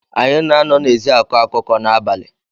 Anyị na-anọ n’ezi akọ akụkọ n’abalị